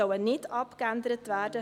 Sie sollen nicht abgeändert werden.